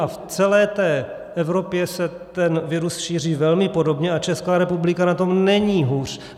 A v celé té Evropě se ten virus šíří velmi podobně a Česká republika na tom není hůř.